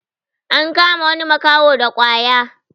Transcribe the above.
an kama wani makaho da kwaya